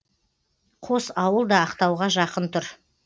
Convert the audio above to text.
қос ауыл да ақтауға жақын тұр